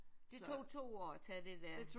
Det tog to år at tage det der?